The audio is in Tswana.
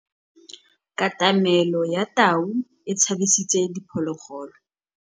Katamêlô ya tau e tshabisitse diphôlôgôlô.